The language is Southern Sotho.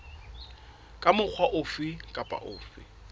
ka mokgwa ofe kapa ofe